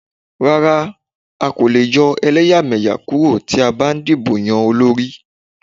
Rárá, a kòlè yọ ẹlẹ́yàmẹyà kúrò tí a bá ń dìbò yan olórí.